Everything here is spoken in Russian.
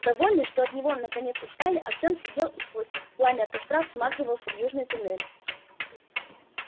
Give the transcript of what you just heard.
довольный что от него наконец отстали артём сидел и сквозь пламя костра всматривался в южный туннель